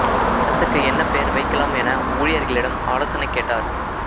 படத்துக்கு என்ன பெயர் வைக்கலாம் என ஊழியர்களிடம் ஆலோசனை கேட்டார்